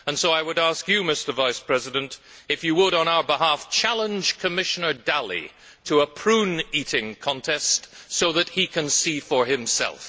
So I would ask you, Mr Vice President, if you would, on our behalf, challenge Commissioner Dalli to a prune eating contest so that he can see for himself.